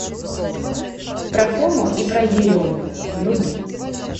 про фому и про ерему вруби